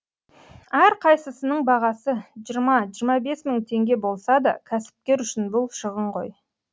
әрқайсысының бағасы жиырма жиырма бес мың теңге болса да кәсіпкер үшін бұл шығын ғой